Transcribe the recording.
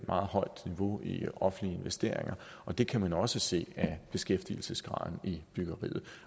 meget højt niveau i offentlige investeringer og det kan man også se af beskæftigelsesgraden i byggeriet